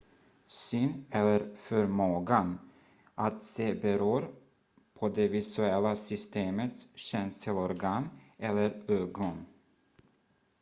syn eller förmågan att se beror på det visuella systemets känselorgan eller ögon